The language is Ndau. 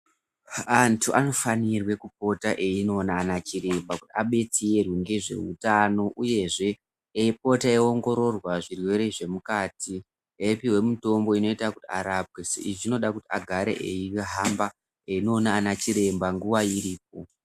Antu anofana kupota einona ana chiremba kuti adetsere ngezveutano uyezve ngekupota eyiongororwa zvirwere zvemukati eyipuwa mitombo yekuti arapwe. Saka izvi zvinoda kuti agare eihamba eindoona anachiremba nguwa ichiripo.